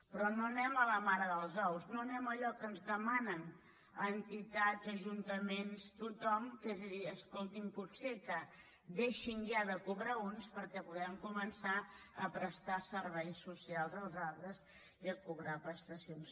però no anem a la mare dels ous no anem a allò que ens demanen entitats ajuntaments tothom que és dir escolti’m potser que deixin ja de cobrar uns perquè puguem començar a prestar serveis socials als altres i a cobrar prestacions